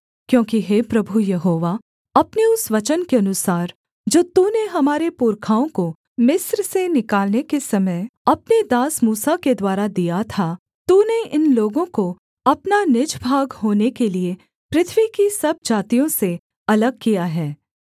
क्योंकि हे प्रभु यहोवा अपने उस वचन के अनुसार जो तूने हमारे पुरखाओं को मिस्र से निकालने के समय अपने दास मूसा के द्वारा दिया था तूने इन लोगों को अपना निज भाग होने के लिये पृथ्वी की सब जातियों से अलग किया है